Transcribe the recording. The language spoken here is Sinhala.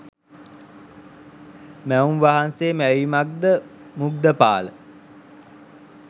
මැවුම් වහන්සේගේ මැවීමක්ද මුග්ධපාල?